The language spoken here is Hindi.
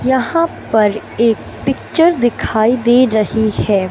यहां पर एक पिक्चर दिखाई दे रही है।